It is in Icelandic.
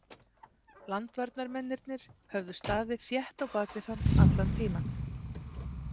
Landvarnarmennirnir höfðu staðið þétt á bak við hann allan tímann.